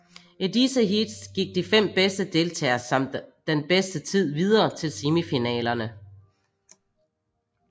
I disse heats gik de fem bedste deltagere samt den bedste tid videre til semifinalerne